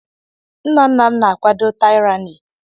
Nna nna m na-akwado taịrani.